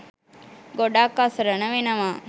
ගොඩක් අසරණ වෙනවා.